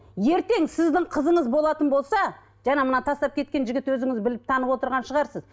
ертең сіздің қызыңыз болатын болса жаңа мына тастап кеткен жігіт өзіңіз біліп танып отырған шығарсыз